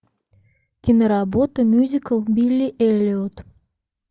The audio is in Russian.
киноработа мюзикл билли эллиот